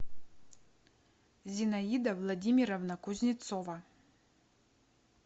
зинаида владимировна кузнецова